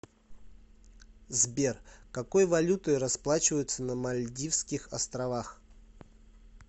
сбер какой валютой расплачиваются на мальдивских островах